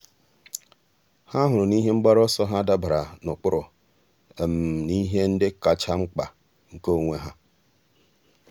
há hụrụ na ihe mgbaru ọsọ ha dabara n’ụ́kpụ́rụ́ na ihe ndị kacha mkpa nke onwe ha.